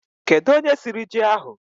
kedu onye siri ji ahụ?